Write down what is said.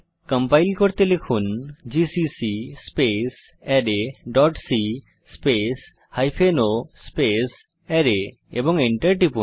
compile করতে লিখুন GCC space array dot c space hyphen o array এবং Enter টিপুন